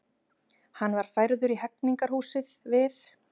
Hann var færður í Hegningarhúsið við